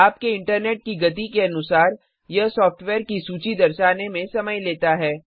आपके इंटरनेट की गति के अनुसार यह सॉफ्टवेयर की सूची दर्शाने में समय लेता है